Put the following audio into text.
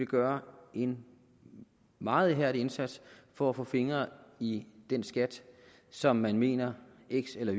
gøre en meget ihærdig indsats for at få fingre i den skat som man mener en eller